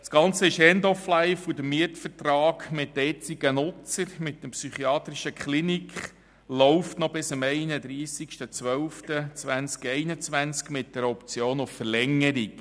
Das Ganze ist «end of life», und der Mietvertrag mit dem jetzigen Nutzer, der psychiatrischen Klinik, läuft noch bis am 31.12.2021 mit der Option auf Verlängerung.